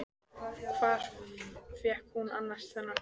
Hvar fékk hún annars þennan kjól?